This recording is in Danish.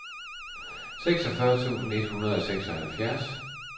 seksogfyrre tusind et hundrede og seksoghalvfjerds